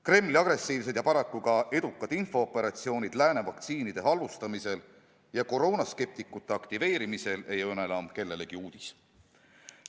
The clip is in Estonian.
Kremli agressiivsed ja paraku ka edukad infooperatsioonid lääne vaktsiinide halvustamiseks ja koroonaskeptikute aktiveerimiseks ei ole enam kellelegi uudis.